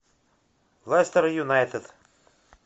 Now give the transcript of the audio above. лестер юнайтед